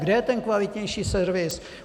Kde je ten kvalitnější servis?